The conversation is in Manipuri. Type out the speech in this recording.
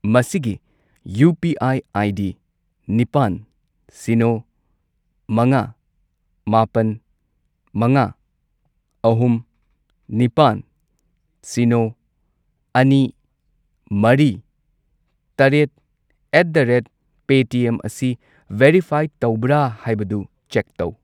ꯃꯁꯤꯒꯤ ꯌꯨ.ꯄꯤ.ꯑꯥꯏ. ꯑꯥꯏ.ꯗꯤ. ꯅꯤꯄꯥꯟ, ꯁꯤꯅꯣ, ꯃꯉꯥ, ꯃꯥꯄꯟ, ꯃꯉꯥ, ꯑꯍꯨꯝ, ꯅꯤꯄꯥꯜ, ꯁꯤꯅꯣ, ꯑꯅꯤ, ꯃꯔꯤ, ꯇꯔꯦꯠ ꯑꯦꯠ ꯗ ꯔꯦꯠ ꯄꯦꯇꯤꯑꯦꯝ ꯑꯁꯤ ꯚꯦꯔꯤꯐꯥꯏ ꯇꯧꯕ꯭ꯔꯥ ꯍꯥꯏꯕꯗꯨ ꯆꯦꯛ ꯇꯧ꯫